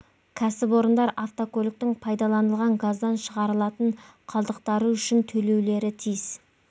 кәсіпорындар автокөліктің пайдаланылған газдан шығарылатын қалдықтары үшін төлеулері тиіс